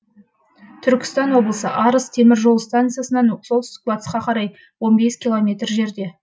түркістан облысы арыс темір жол станциясынан солтүстік батысқа қарай километр жерде